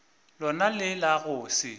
lona le la go se